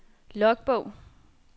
logbog